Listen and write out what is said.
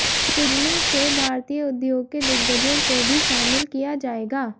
सिजमें से भारतीय उद्योग के दिग्गजों को भी शामिल किया जाएगा